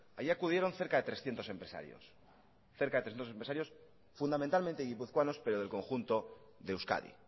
allí acudieron cerca de trescientos empresarios fundamentalmente guipuzcoanos pero del conjunto de euskadi